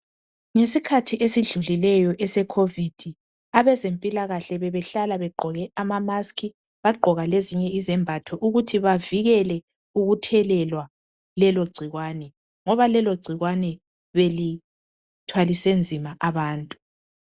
Ngesikhathi esidlulileyo somkhuhlane we Covid abezempilakahle bebehlala begqoke izifonyo lezinye izembatho ukuthi bavikele ukuthelelwa lelo gcikwane ngoba belithwalise nzima abantu .